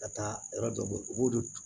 Ka taa yɔrɔ dɔ bɔ u b'o de